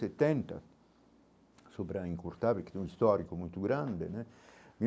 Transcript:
E setenta sobre a Incurtável, que tem um histórico muito grande né.